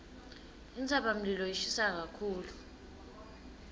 intsabamlilo ishisa kakhulu